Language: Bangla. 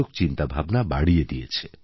চিন্তাভাবনা বাড়িয়ে দিয়েছে